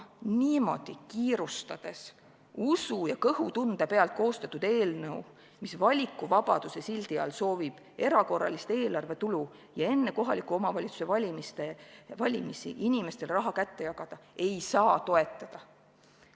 Niimoodi kiirustades, usu ja kõhutunde pealt koostatud eelnõu, mis valikuvabaduse sildi all soovib tekitada erakorralist eelarvetulu ja enne kohaliku omavalitsuse valimisi inimestele raha kätte jagada, ei saa toetada.